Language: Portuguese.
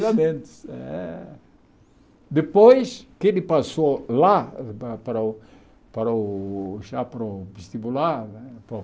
Tiradentes, é. Depois que ele passou lá para o para o já para o vestibular